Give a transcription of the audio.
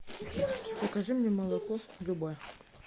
закажи мне молоко любое